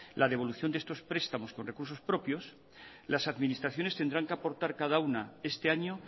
la devolución de estos prestamos con recursos propios las administraciones tendrán que aportar cada una este año